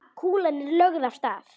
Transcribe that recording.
Kúlan er lögð af stað.